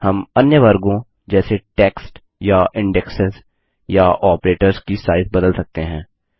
हम अन्य वर्गों जैसे टेक्स्ट या इंडेक्सेस या आपरेटर्स की साइज़ बदल सकते हैं